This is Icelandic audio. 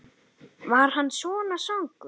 Var hann svona svangur?